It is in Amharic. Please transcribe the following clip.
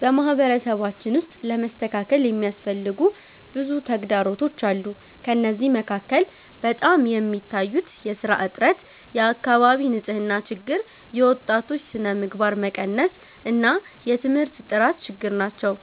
በማህበረሰባችን ውስጥ ለመስተካከል የሚያስፈልጉ ብዙ ተግዳሮቶች አሉ። ከእነዚህ መካከል በጣም የሚታዩት የሥራ እጥረት፣ የአካባቢ ንፅህና ችግር፣ የወጣቶች ስነምግባር መቀነስ እና የትምህርት ጥራት ችግር ናቸው።